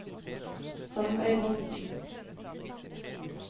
Sandøybotn